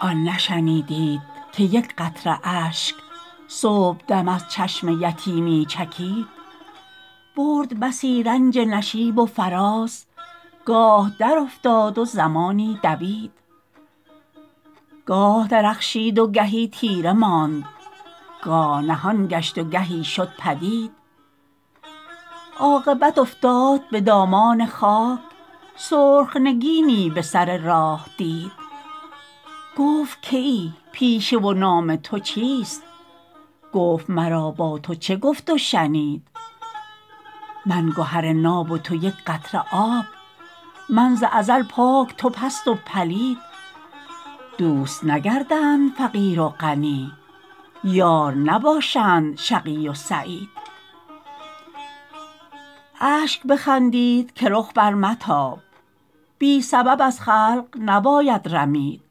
آن نشنیدید که یک قطره اشک صبحدم از چشم یتیمی چکید برد بسی رنج نشیب و فراز گاه در افتاد و زمانی دوید گاه درخشید و گهی تیره ماند گاه نهان گشت و گهی شد پدید عاقبت افتاد بدامان خاک سرخ نگینی بسر راه دید گفت که ای پیشه و نام تو چیست گفت مرا با تو چه گفت و شنید من گهر ناب و تو یک قطره آب من ز ازل پاک تو پست و پلید دوست نگردند فقیر و غنی یار نباشند شقی و سعید اشک بخندید که رخ بر متاب بی سبب از خلق نباید رمید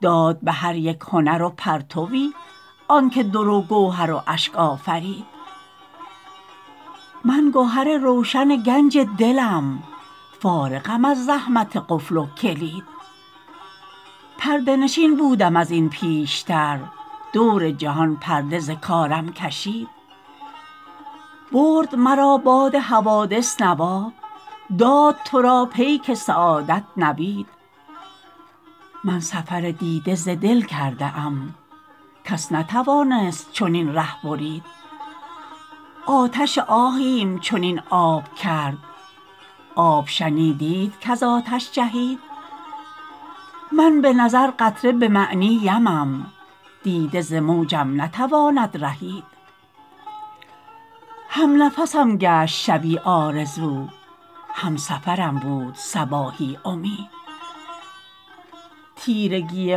داد بهر یک هنر و پرتوی آنکه در و گوهر و اشک آفرید من گهر روشن گنج دلم فارغم از زحمت قفل و کلید پرده نشین بودم ازین پیشتر دور جهان پرده ز کارم کشید برد مرا باد حوادث نوا داد تو را پیک سعادت نوید من سفر دیده ز دل کرده ام کس نتوانست چنین ره برید آتش آهیم چنین آب کرد آب شنیدید کز آتش جهید من بنظر قطره بمعنی یمم دیده ز موجم نتواند رهید همنفسم گشت شبی آرزو همسفرم بود صباحی امید تیرگی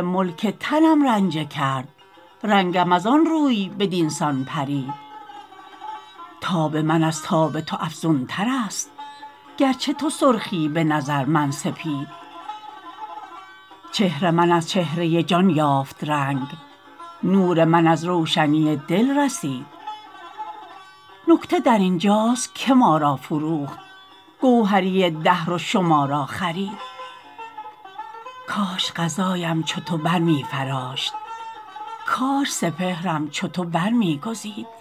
ملک تنم رنجه کرد رنگم از آن روی بدینسان پرید تاب من از تاب تو افزونتر است گرچه تو سرخی به نظر من سپید چهر من از چهره جان یافت رنگ نور من از روشنی دل رسید نکته درینجاست که ما را فروخت گوهری دهر و شما را خرید کاش قضایم چو تو برمیفراشت کاش سپهرم چو تو برمیگزید